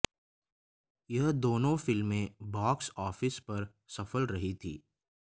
यह दोनों फिल्में बॉक्स ऑफिस पर सफल रही थी